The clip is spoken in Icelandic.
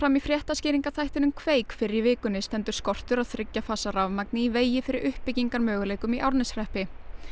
í fréttaskýringaþættinum kveik fyrr í vikunni stendur skortur á þriggja fasa rafmagni í vegi fyrir uppbyggingarmöguleikum í Árneshreppi